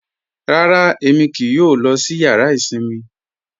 Rárá, Ẹmi kíì yọ lọ sí yàrà isinmi.